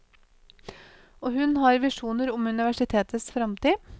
Og hun har visjoner om universitetets fremtid.